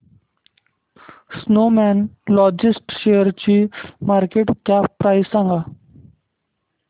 Snowman logistics शेअरची market cap price सांगा